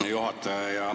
Hea juhataja!